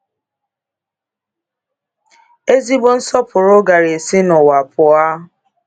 Ezigbo nsọpụrụ gàrà esi n'ụwa pụọ.